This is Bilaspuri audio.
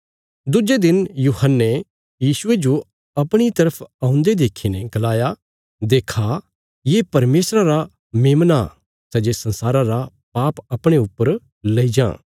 दुज्जे दिन यूहन्ने यीशुये जो अपणी तरफ औन्दे देखीने गलाया देक्खा ये परमेशरा रा मेमना सै जे संसारा रा पाप अपणे ऊपर लेई जां